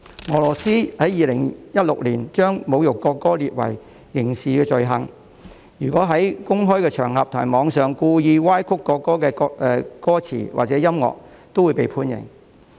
俄羅斯在2016年將侮辱國歌列為刑事罪行，如果在公開場合和網上故意歪曲國歌歌詞或曲調，均會被判刑。